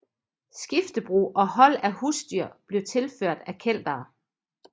Skiftebrug og hold af husdyr blev tilført af Keltere